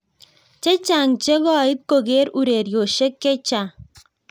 chechang che koit koker urerioshek chechang